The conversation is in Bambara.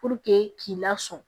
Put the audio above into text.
k'i lasɔmi